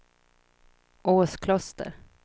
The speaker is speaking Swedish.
Åskloster